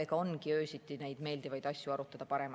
Eks ongi öösiti parem just neid meeldivaid asju arutada.